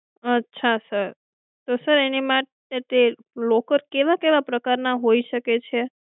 અચ્છા sir તો એની માટે locker કેવા કેવા પ્રકાર ના હોઈ શકે છે